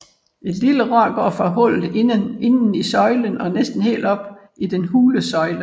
Et lille rør går fra hullet inden i søjlen og næsten helt op i den hule søjle